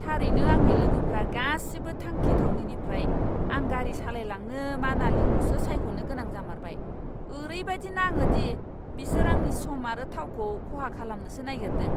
थारैनो, आंनि लोगोफोरा गासिबो थांखि थावनिनिफ्राय आं गारि सालायलांनो मानालीखौसो सायख'नो गोनां जामारबाय! ओरैबायदि नाङो दि बिसोर आंनि सम आरो थावखौ खहा खालामनोसो नागिरदों!